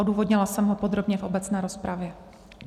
Odůvodnila jsem ho podrobně v obecné rozpravě.